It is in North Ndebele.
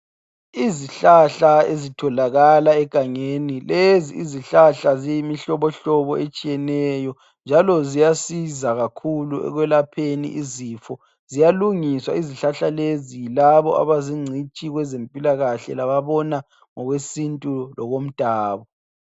Izihlahla ezitholakala egangeni, lezi izihlahla ziyimihlobo hlobo etshiyeneyo njalo ziyasiza kakhulu ekwelapheni izifo. Ziyalungiswa izihlahla lezi yilabo abazingcitshi kwezempilakahle lababona ngokwesintu lokomdabo.